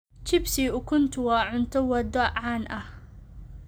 Chips iyo ukuntu waa cunto waddo caan ah.